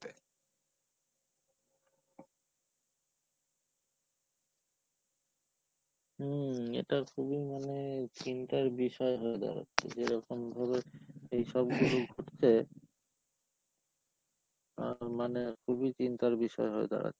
হম, এটা খুবই মানে চিন্তার বিষয় হয়ে দাঁড়াচ্ছে, যেরকম ভাবে এইসব গুলো ঘটছে, অ্যাঁ মানে খুবই চিন্তার বিষয় হয়ে দাঁড়াচ্ছে।